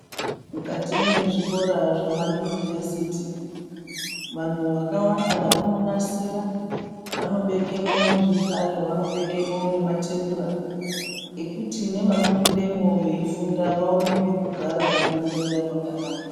Mukati mwezvikora zvema Yunivhesiti, vanhu vakawanda vononasira vanobekemwo nezvihlayo, vanobekemwo matebura ekuti imwi vanopindemwo veifunda vaone pekugara nekunyorera pakanaka.